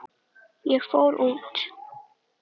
Ég fór út.